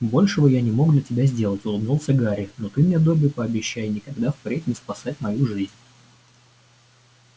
большего я не мог для тебя сделать улыбнулся гарри но ты мне добби пообещай никогда впредь не спасать мою жизнь